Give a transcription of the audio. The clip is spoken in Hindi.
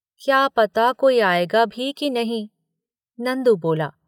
"क्या पता कोई आएगा भी कि नहीं? नंदु बोला